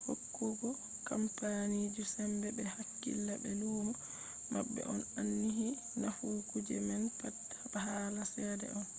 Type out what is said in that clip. hokkugo kampaniji sembe ɓe hakkila be luumo maɓɓe on ainihi nafu kuje man pat hala cede on